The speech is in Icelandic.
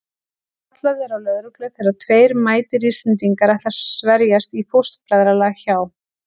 Kallað er á lögreglu þegar tveir mætir Íslendingar ætla að sverjast í fóstbræðralag hjá